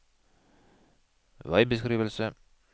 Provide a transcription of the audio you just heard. veibeskrivelse